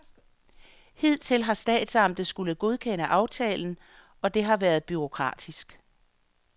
Hidtil har statsamtet skullet godkende aftalen, og det har været bureaukratisk.